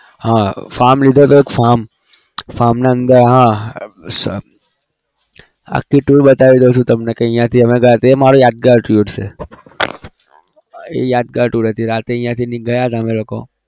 હા farm લીધો હતો એક farm farm ના અંદર હા આખી tour બતાવી દઉં છું તમને અહિયાંથી અમે ગયા તે મારી યાદગાર trip છે યાદગાર tour હતી રાતે અહિયાથી ગયા હતા અમે લોકો